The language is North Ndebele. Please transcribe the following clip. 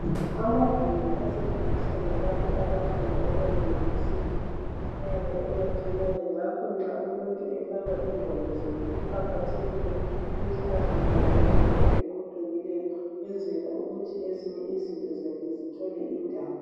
Amagumbi asetshenziswa ngabantu abafunda ema university ayabe emancinyane ngakho nxa umuntu efaka ingwalo zakhe kuqakathekile ukuthi azifake ngendlela eqoqekileyo ukwenzela ukuthi ezinye izinto zakhe zithole indawo.